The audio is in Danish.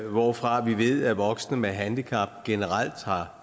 hvorfra vi ved at voksne med handicap generelt har